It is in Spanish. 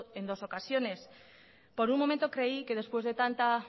en dos ocasiones por un momento creí que después de tanta